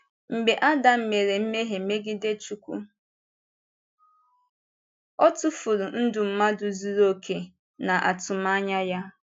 Mgbe Ádám mere mmehie megide Chúkwú, ọ tụfùrù ndụ mmadụ zuru òkè na atụmànyà ya.